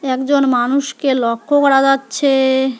একজন মানুষকে লক্ষ্য করা যাচ্ছে।